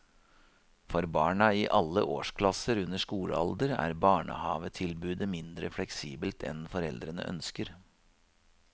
For barna i alle årsklasser under skolealder er barnehavetilbudet mindre fleksibelt enn foreldrene ønsker.